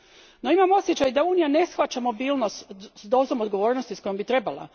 No imam osjećaj da Unija ne shvaća mobilnost s dozom odgovornosti s kojom bi trebala.